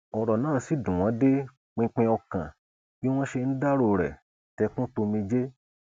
ọrọ náà sì dùn wọn dé pinpin ọkàn bí wọn ṣe ń dárò rẹ tẹkùntòmijé